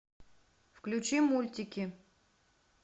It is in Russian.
включи мультики